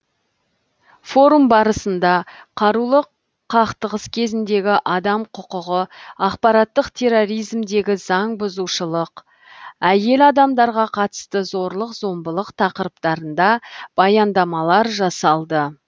форум барысында қарулы қақтығыс кезіндегі адам құқығы ақпараттық терроризмдегі заңбұзушылық әйел адамдарға қатысты зорлық зомбылық тақырыптарында баяндамалар жасалды